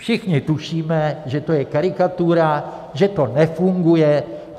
Všichni tušíme, že to je karikatura, že to nefunguje.